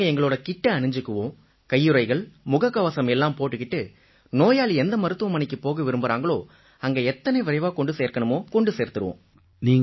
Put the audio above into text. நாங்க எங்களோட கிட்டை அணிஞ்சிக்குவோம் கையுறைகள் முகக்கவசம் எல்லாம் போட்டுக்கிட்டு நோயாளி எந்த மருத்துவமனைக்குப் போக விரும்பறாங்களோ அங்க எத்தனை விரைவா கொண்டு சேர்க்கணுமோ கொண்டு சேர்த்துடுவோம்